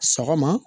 Sɔgɔma